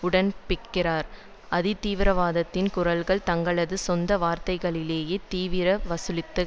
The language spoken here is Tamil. உடன்படுகிறார் அதிதீவிரவாதத்தின் குரல்கள் தங்களது சொந்த வார்த்தைகளிலேயே தீவிர வலதுசாரிகள்